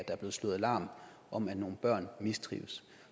er blevet slået alarm om at nogle børn mistrives